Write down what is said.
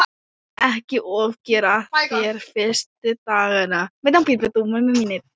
Ekki ofgera þér fyrstu dagana.